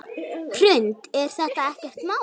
Hrund: Er þetta ekkert mál?